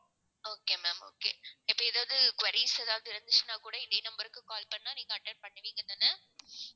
okay ma'am okay. இப்ப ஏதாவது queries ஏதாவது இருந்துச்சுன்னா கூட இதே number க்கு call பண்ணா நீங்க attend பண்ணுவீங்கதான?